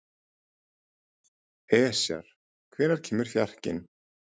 Esjar, hvenær kemur fjarkinn?